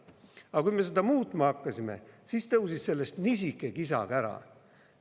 Aga kui me seda muutma hakkasime, siis tõusis sellest kisa-kära.